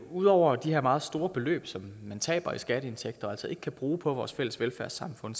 ud over de her meget store beløb som man taber i skatteindtægter og altså ikke kan bruge på vores fælles velfærdssamfund